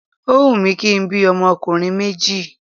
Óhun mi kí n bí ọmọkùnrin méjì